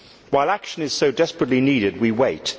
While action is so desperately needed, we wait.